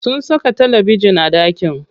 Sun saka talabejin a ɗakin.